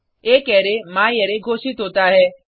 एक अरै म्यारे घोषित होता है